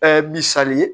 misali ye